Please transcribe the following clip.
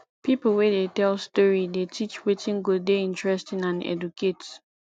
pipo wey dey tell story dey teach wetin go dey interesting and educate